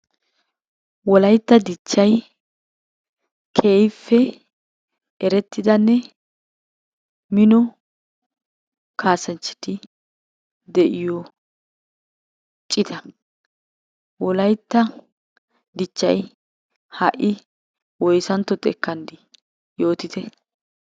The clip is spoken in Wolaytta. Wolaytta dichchay keehippe erettidanne Mino kaassanchchati de'iyo cita. Wolaytta dichchay ha'i woyisantta xekkan di? yootite.